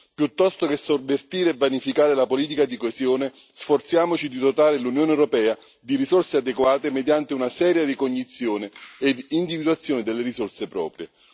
Piuttosto che sovvertire e vanificare la politica di coesione, sforziamoci di dotare l'Unione europea di risorse adeguate mediante una seria ricognizione e individuazione delle risorse proprie.